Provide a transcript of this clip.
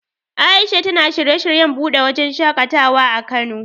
A'isha tana shirye shiryen buɗe wajen shaƙatawa a Kano.